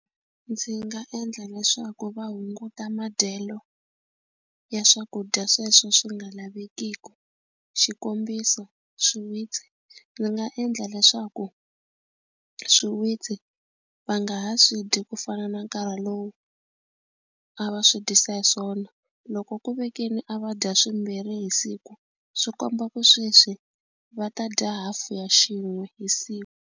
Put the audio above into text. Ndzi nga endla leswaku va hunguta madyelo ya swakudya sweswo swi nga lavekiku xikombiso swiwitsi ndzi nga endla leswaku swiwitsi va nga ha swi dyi ku fana na nkarhi lowu a va swi dyisa hi swona loko ku ve keni a va dya swimbirhi hi siku swi komba ku sweswi va ta dya half ya xin'we hi siku.